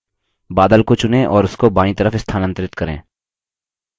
बादल को चुनें और उसको बायीं तरफ स्थानांतरित करें